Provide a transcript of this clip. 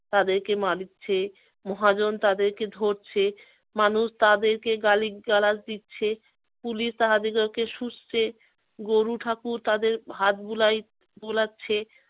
তাদেরকে মারছে, মহাজন তাদেরকে ধরছে, মানুষ তাদেরকে গালিগালাজ দিচ্ছে, কুলি তাহাদিগকে গরুঠাকুর তাদের হাত বুলাই~ বুলাচ্ছে